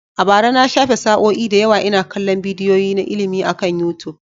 A bara, na shafe sa'o'i da yawa ina kallon bidiyoyi na ilimi akan YouTube.